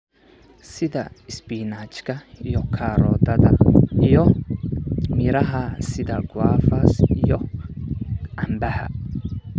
sida isbinaajka iyo karootada, iyo miraha sida guavas iyo cambaha.